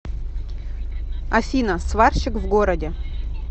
афина сварщик в городе